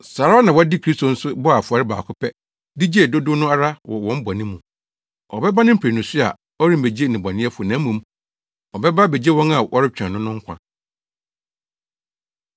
Saa ara na wɔde Kristo nso bɔɔ afɔre baako pɛ de gyee dodow no ara wɔ wɔn bɔne mu. Ɔbɛba ne mprenu so a ɔremmegye nnebɔneyɛfo na mmom, ɔbɛba abegye wɔn a wɔretwɛn no no nkwa.